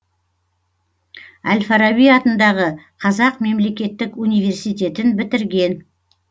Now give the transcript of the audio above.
әл фараби атындағы қазақ мемлекеттік университетін бітірген